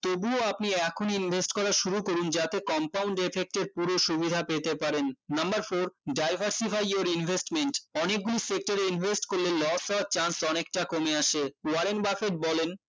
তবুও আপনি এখন invest করা শুরু করুন যাতে compound effect এর পুরো সুবিধা পেতে পারেন number four diversify your investment অনেকগুলো sector এ invest করলে loss হওয়ার chance অনেকটা কমে আসে warren buffet বলেন